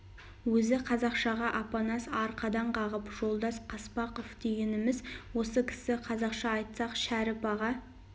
өзі қазақшаға апанас арқадан қағып жолдас қаспақов дегеніміз осы кісі қазақша айтсақ шәріп аға